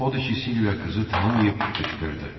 Odur ki, Silvia qızı tanımayıb qışqırdı.